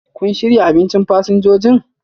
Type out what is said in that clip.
kun shirya abinchin fasinjojin?